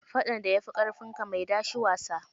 Faɗan da ya fi ƙarfinka, mai da shi wasa.